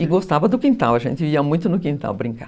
E gostava do quintal, a gente ia muito no quintal brincar.